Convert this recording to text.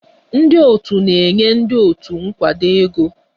Ndị otu na-enye ndị otu nkwado ego.